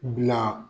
Bila